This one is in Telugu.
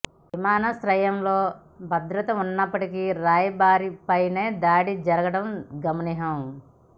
విమానాశ్రయంలో భద్రత ఉన్నప్పటికీ రాయబారి పైన దాడి జరగడం గమనార్హం